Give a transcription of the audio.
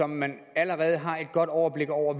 man allerede har et godt overblik over